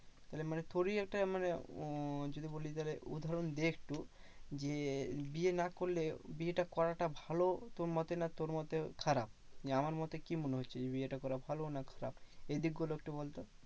মানে তোরই একটা মানে উম যদি বলি তাহলে উদাহরণ দি একটু যে, বিয়ে না করলে বিয়েটা করাটা ভালো তোর মতে না তোর মতে খারাপ? নিয়ে আমার মতে কি মনে হচ্ছে? যে, বিয়েটা করা ভালো না খারাপ? এই দিক গুলো একটু বলতো।